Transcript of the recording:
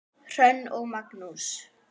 Hrönn og Magnús.